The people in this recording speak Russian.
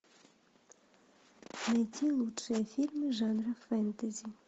найти лучшие фильмы жанра фэнтези